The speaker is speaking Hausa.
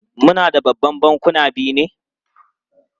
Muna da Babban Bankuna biyu ne?